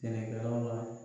Sɛnɛkɛlaw la.